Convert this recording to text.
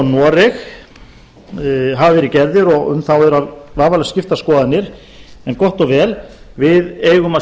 noreg hafa verið gerðar og um þá er vafalaust skiptar skoðanir en gott og vel við eigum að